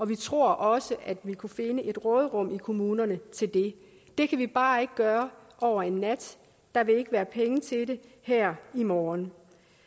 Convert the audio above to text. vi tror også at man kunne finde et råderum i kommunerne til det det kan vi bare ikke gøre over en nat der vil ikke være penge til det her i morgen